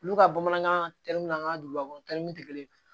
Olu ka bamanankan tɛri min na an ka dugubakɔnɔtaw tɛ kelen ye